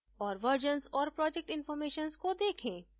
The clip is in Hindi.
और versions और project informations को देखें